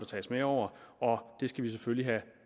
tages med over og det skal vi selvfølgelig have